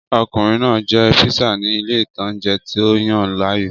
Ọkùnrin náà jẹ píísà ni ilé ìtanjẹ́ tó yàn láàyò